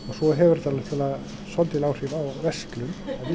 svo hefur þetta náttúrulega svolítil áhrif á verslun